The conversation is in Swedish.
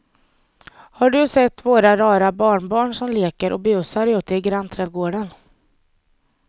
Har du sett våra rara barnbarn som leker och busar ute i grannträdgården!